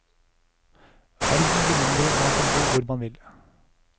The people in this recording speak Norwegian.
Verden blir mindre, og man kan bo hvor man vil.